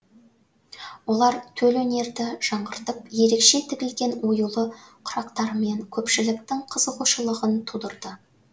олар төл өнерді жаңғыртып ерекше тігілген оюлы құрақтарымен көпшіліктің қызығушылығын тудырды